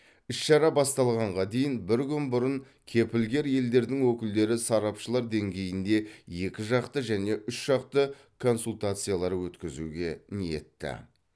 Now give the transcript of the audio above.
іс шара басталғанға дейін бір күн бұрын кепілгер елдердің өкілдері сарапшылар деңгейінде екі жақты және үш жақты консультациялар өткізуге ниетті